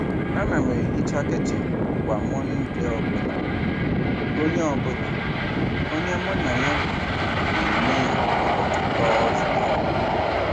Ana m ehicha kichin kwa Mọnde ọ bụla, onye bụla, onye mụ na ya bi na-eme ya ụbọchị Tọzdee.